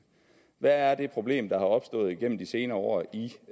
hvad er det problem der er opstået gennem de senere år i